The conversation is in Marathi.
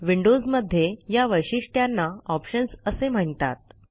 विंडोजमध्ये या वैशिष्ट्यांना ऑप्शन्स असे म्हणतात